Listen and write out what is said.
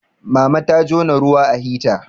mama ta jona ruwa a hita